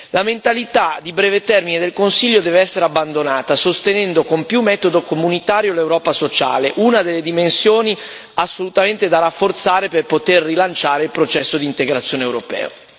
La mentalità di breve termine del Consiglio deve essere abbandonata, sostenendo con più metodo comunitario l'Europa sociale, una delle dimensioni assolutamente da rafforzare per poter rilanciare il processo di integrazione europeo.